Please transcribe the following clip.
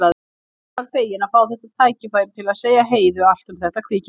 Hún var fegin að fá þetta tækifæri til að segja Heiðu allt um þetta kvikindi.